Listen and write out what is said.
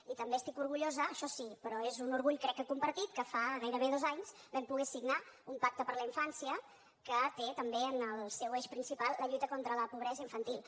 i també estic orgullosa això sí però és un orgull crec que compartit que fa gairebé dos anys vam poder signar un pacte per la infància que té també en el seu eix principal la lluita contra la pobresa infantil